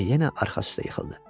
Və yenə arxası üstə yıxıldı.